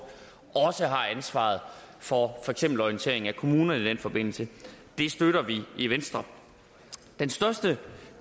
også har ansvaret for for eksempel orientering af kommunerne i den forbindelse det støtter vi i venstre den største